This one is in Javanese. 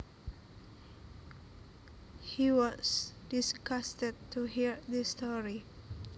He was disgusted to hear his story